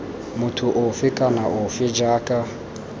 motho ofe kana ofe jaaka